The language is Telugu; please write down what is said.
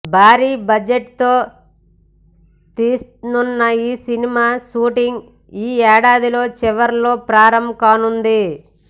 భారీ బడ్జెట్ తో తీస్తున్న ఈ సినిమా షూటింగ్ ఈ ఏడాదిలో చివరలో ప్రారంభం కానుంది